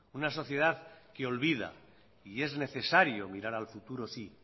una sociedad que olvida y es necesario mirar al futuro sí